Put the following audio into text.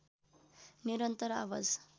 निरन्तर आवाज